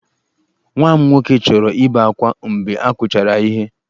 Nwa m nwoke chọrọ ibe akwa mgbe a kụchara ya ihe.